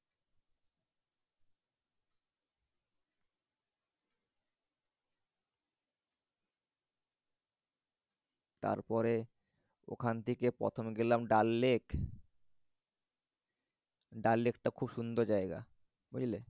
তারপরে ওখান থেকে প্রথমে গেলাম ডাল lake ডাল lake টা খুব সুন্দর জায়গা বুঝলে?